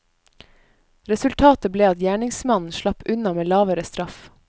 Resultatet ble at gjerningsmannen slapp unna med lavere straff.